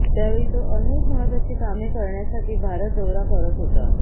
त्यावेळी तो अनेक महत्वाची कामे करण्यासाठी भारत दौरा करत होता